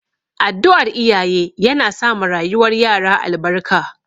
Addu'ar iyaye yana sa ma rayuwar yara albarka